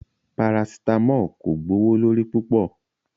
Paracetamol ko gbowolori pupọ